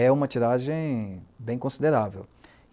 É uma tiragem bem considerável.